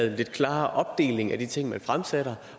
lidt klarere opdeling af de ting man fremsætter